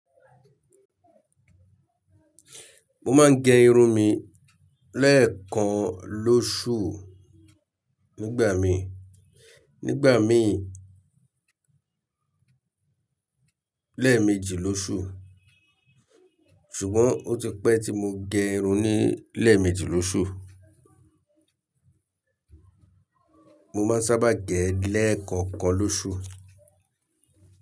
Mo máa ń gẹ irun mi lẹ́ẹ̀kan lóṣù nígbà mi, nígbà mi lẹ́ẹ̀mejì lóṣù ṣùgbọ́n ó ti pẹ́ tí mo gẹ irun ní lẹ́ẹ̀mejì lóṣù. Mo má ń sábà gẹ lẹ́ẹ̀kan kan lóṣù.